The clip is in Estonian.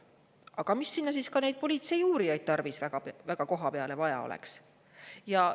Aga miks siis neid politseiuurijaidki sinna koha peale tarvis peaks olema?